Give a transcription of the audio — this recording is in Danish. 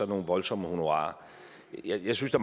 voldsomme honorarer jeg synes at